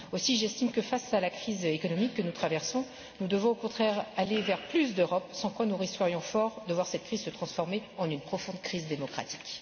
Aussi, j'estime que face à la crise économique que nous traversons, nous devons au contraire aller vers plus d'Europe, sans quoi nous risquerions fort de voir cette crise se transformer en une profonde crise démocratique.